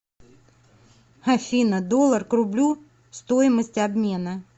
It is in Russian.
афина доллар к рублю стоимость обмена